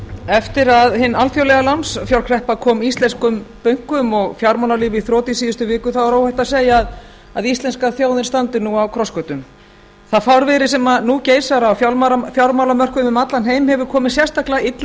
eftir að hin alþjóðlega lánsfjárkreppa kom íslenskum bönkum og fjármálalífi í þrot í síðustu viku er óhætt að segja að íslenska þjóðin standi nú á krossgötum það fárviðri sem nú geisar á fjármálamörkuðum um allan heim hefur komið sérstaklega illa